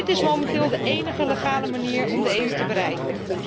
Dit is momenteel de enige legale manier om de EU te bereiken.